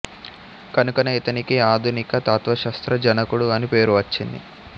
కనుకనే ఇతనికి ఆధునిక తత్వశాస్త్ర జనకుడు అని పేరు వచ్చింది